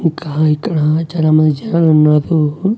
ఇంకా ఇక్కడ చాలామంది జనాలు ఉన్నారు.